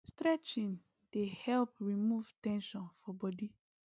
stretching dey help remove ten sion for body